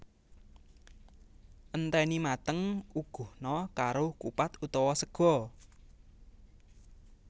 Enteni mateng uguhna karo kupat utawa sega